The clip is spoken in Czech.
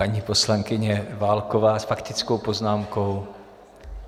Paní poslankyně Válková s faktickou poznámkou.